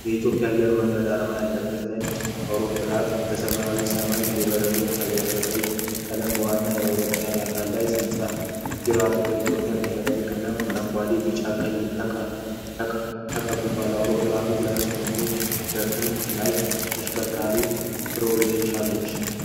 የኢትዮጵያ አየር መንገድ አርማ ያለበት ነጭ ተርቦፕሮፕ አውሮፕላን በሰማያዊ ሰማይ እየበረረ ይታያል። በቀይ ቀለም በዋናው የአውሮፕላኑ አካል ላይ ሲጻፍ፣ ጅራቱ በኢትዮጵያ ብሔራዊ ቀለሞች (አረንጓዴ፣ ቢጫና ቀይ) ተቀብቷል። አውሮፕላኑ ሁለት ክንፎችና በክንፎቹ ላይ የሚሽከረከሩ ፕሮፔለሮች አሉት።